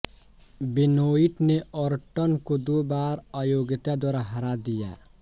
Benoit ने Orton को दो बार अयोग्यता द्वारा हरा दिया